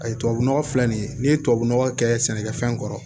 Ayi tubabu nɔgɔ filɛ nin ye n'i ye tubabu nɔgɔ kɛ sɛnɛkɛfɛn kɔrɔ